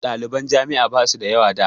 Ɗaliban jami'a ba su da yawa da.